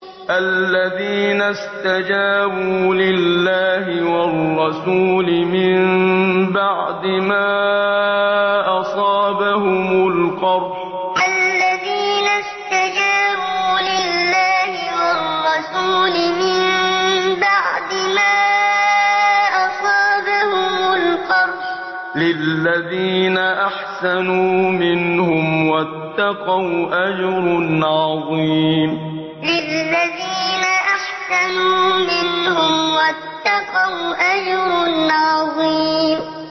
الَّذِينَ اسْتَجَابُوا لِلَّهِ وَالرَّسُولِ مِن بَعْدِ مَا أَصَابَهُمُ الْقَرْحُ ۚ لِلَّذِينَ أَحْسَنُوا مِنْهُمْ وَاتَّقَوْا أَجْرٌ عَظِيمٌ الَّذِينَ اسْتَجَابُوا لِلَّهِ وَالرَّسُولِ مِن بَعْدِ مَا أَصَابَهُمُ الْقَرْحُ ۚ لِلَّذِينَ أَحْسَنُوا مِنْهُمْ وَاتَّقَوْا أَجْرٌ عَظِيمٌ